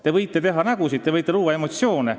Te võite teha nägusid, te võite luua emotsioone.